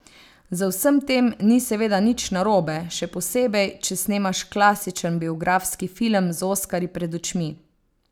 Z vsem tem ni seveda nič narobe, še posebej, če snemaš klasičen biografski film z oskarji pred očmi.